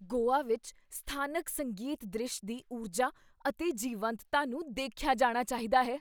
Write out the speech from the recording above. ਗੋਆ ਵਿੱਚ ਸਥਾਨਕ ਸੰਗੀਤ ਦ੍ਰਿਸ਼ ਦੀ ਊਰਜਾ ਅਤੇ ਜੀਵੰਤਤਾ ਨੂੰ ਦੇਖਿਆ ਜਾਣਾ ਚਾਹੀਦਾ ਹੈ।